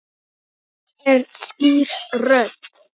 Þetta er skýr rödd.